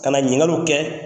Ka na ɲininkaliw kɛ